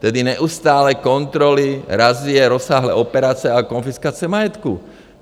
Tedy neustálé kontroly, razie, rozsáhlé operace a konfiskace majetku.